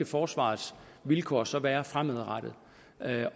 forsvarets vilkår så skal være fremadrettet